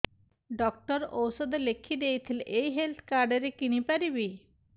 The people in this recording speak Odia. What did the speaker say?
ଡକ୍ଟର ଔଷଧ ଲେଖିଦେଇଥିଲେ ଏଇ ହେଲ୍ଥ କାର୍ଡ ରେ କିଣିପାରିବି